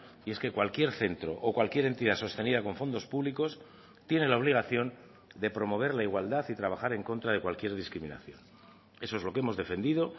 y es que cualquier centro o cualquier entidad sostenida con fondos públicos tiene la obligación de promover la igualdad y trabajar en contra de cualquier discriminación eso es lo que hemos defendido